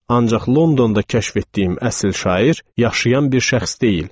Ancaq Londonda kəşf etdiyim əsl şair yaşayan bir şəxs deyil.